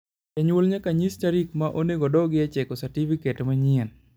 janyuol nyaka nyis tarik ma onego oduogie cheko satifiket manyien